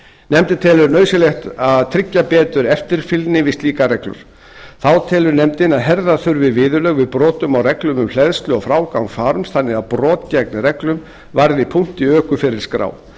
nefndin telur nauðsynlegt að tryggja betur eftirfylgni við slíkar reglur þá telur nefndin að herða þurfi viðurlög við brotum á reglum um hleðslu og frágang farms þannig að brot gegn reglunum varði punkt í ökuferilsskrá